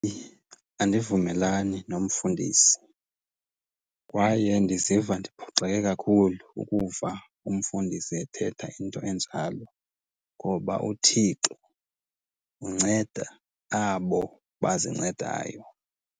Andivumelani nomfundisi kwaye ndiziva ndiphoxeke kakhulu ukuva umfundisi ethetha into enjalo ngoba uThixo unceda abo bazincedayo.